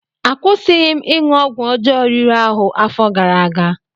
Akwụsịghị m ịṅụ ọgwụ ọjọọ riri ahụ gara aga.